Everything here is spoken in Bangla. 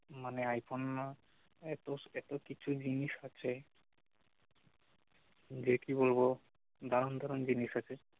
মানে আইফোনে না এতো এতো কিছু জিনিস আছে যে কি বলবো দারুন দারুন জিনিস আছে